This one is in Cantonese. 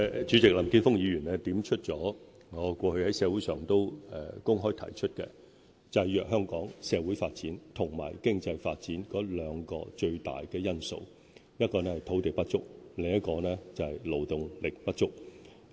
主席，林健鋒議員點出了我過去在社會上公開提出的一點，就是制約香港社會發展及經濟發展的兩大主要因素，一個是土地不足，另一個是勞動力不足。